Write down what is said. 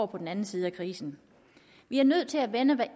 på den anden side af krisen vi er nødt til at vende hver